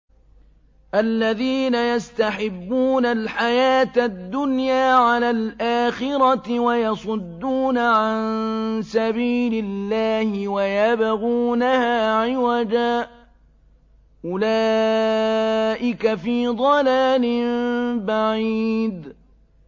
الَّذِينَ يَسْتَحِبُّونَ الْحَيَاةَ الدُّنْيَا عَلَى الْآخِرَةِ وَيَصُدُّونَ عَن سَبِيلِ اللَّهِ وَيَبْغُونَهَا عِوَجًا ۚ أُولَٰئِكَ فِي ضَلَالٍ بَعِيدٍ